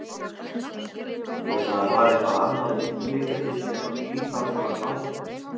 Eða var eitthvað annað undirliggjandi sem að býr þarna að baki?